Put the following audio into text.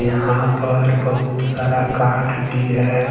यहां पर बहुत सारा काठ भी है।